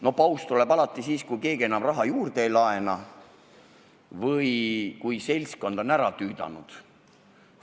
No paus tuleb alati siis, kui keegi enam raha juurde ei laena või kui seltskond on ära tüüdanud.